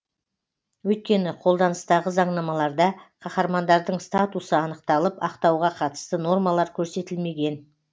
өйткені қолданыстағы заңнамаларда қаһармандардың статусы анықталып ақтауға қатысты нормалар көрсетілмеген